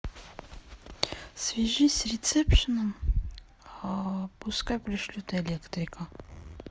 свяжись с ресепшеном пускай пришлют электрика